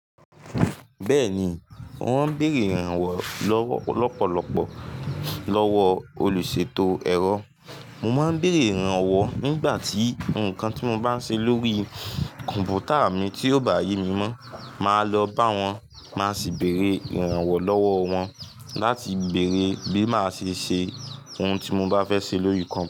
Bẹ́ẹ̀ni, mo máa ń béèrè ìrànwọ́ lọ́pọ̀lọpọ̀ lọ́wọ́ olùṣètò ẹ̀rọ. Mo máa ń béèrè ìrànwọ́ nígbà tí nǹkan tí mo bá ń ṣe lórí kọ̀m̀pútà mi tí ò bá yé mi mọ́, màá lọ bá wọn máa sì béèrè ìrànwọ́ lọ́wọ́ wọn láti béèrè bí màá ṣe ṣe ohun tí mo bá fẹ́ ṣe lórí kọ̀m̀pútà.